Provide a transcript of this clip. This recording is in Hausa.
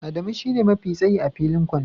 Adamu shine mafi tsayi a filin kwando